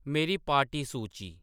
मेरी पार्टी सूची